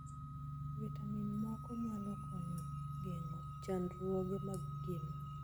Vitamin moko nyalo konyo geng'o chandruoge mag gima.